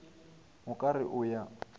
o ka re o ya